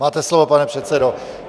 Máte slovo, pane předsedo.